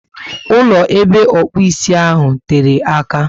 Ụlọ ebe okpu ísì ahụ tere àkà